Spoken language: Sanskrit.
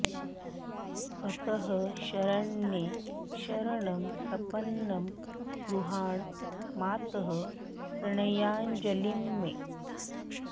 अतः शरण्ये शरणं प्रपन्नं गृहाण मातः प्रणयाञ्जलिं मे